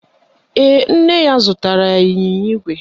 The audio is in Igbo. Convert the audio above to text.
Ee, nne m zụtara ya ịnyịnya ígwè